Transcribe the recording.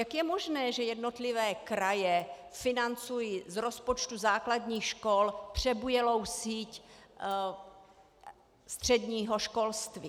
Jak je možné, že jednotlivé kraje financují z rozpočtu základních škol přebujelou síť středního školství?